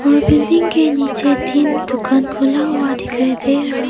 building के नीचे तीन दुकान खुला हुआ दिखाइए दे रहा--